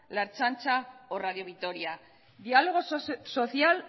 la ertzaintza o radio vitoria diálogo social